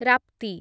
ରାପ୍ତି